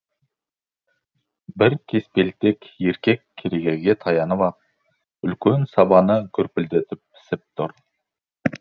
бір кеспелтек еркек керегеге таянып ап үлкен сабаны гүрпілдетіп пісіп тұр